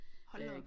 Hold nu op